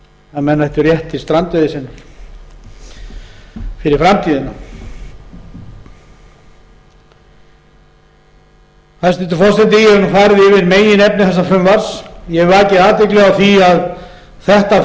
að menn ættu rétt til strandveiði fyrir framtíðina hæstvirtur forseti ég hef farið yfir meginefni þessa frumvarps ég hef vakið athygli á því að þetta